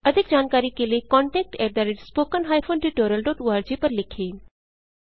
अधिक जानकारी के लिए contactspoken tutorialorg पर लिखें